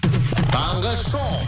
таңғы шоу